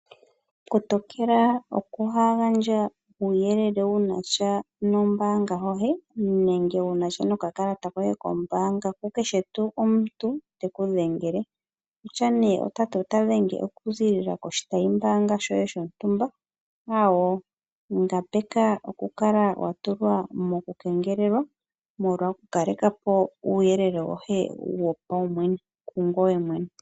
Kotokela okuhaagandja uuyelele wunasha nombaanga hohe, nenge wunasha nokakalata koye kombaanga kukeshe tuu omuntu, tekudhengele. Okutya nee otati otadhenge okuzilila koshitayimbaanga shoye shontumba, aawo, ngambeka okukala watulwa mokukengelelwa, molwa okukalekapo uuyelele wohe wopaumwene kungoye mwene.